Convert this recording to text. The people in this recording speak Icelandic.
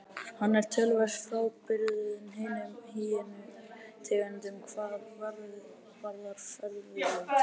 Hann er töluvert frábrugðinn hinum hýenu tegundunum hvað varðar fæðuval.